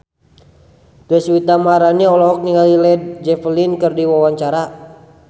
Deswita Maharani olohok ningali Led Zeppelin keur diwawancara